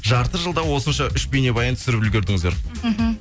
жарты жылда осынша үш бейнебаян түсіріп үлгердіңіздер мхм